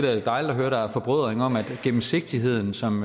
er da dejligt at høre at der er forbrødring om at gennemsigtigheden som